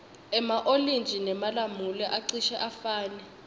ema olintji nemalamula acishe afane